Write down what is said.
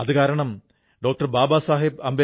അതിൽ വലിയ പങ്ക് പുൽവാമയുടേതാണ്